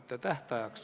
Kuidas?